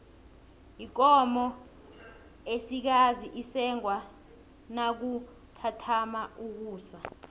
ikomo esikazi isengwa nakuthatha ukusa